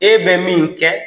E bɛ min kɛ